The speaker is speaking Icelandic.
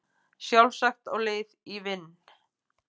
Sjálfsagt á leið í vinn